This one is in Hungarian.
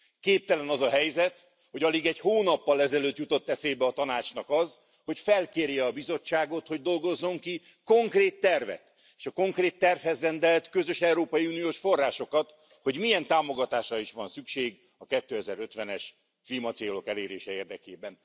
Képtelen az a helyzet, hogy alig egy hónappal ezelőtt jutott eszébe a Tanácsnak az, hogy felkérje a Bizottságot, hogy dolgozzon ki konkrét tervet, és a konkrét tervhez rendelt közös európai uniós forrásokat, hogy milyen támogatásra is van szükség a 2050 es klímacélok elérése érdekében.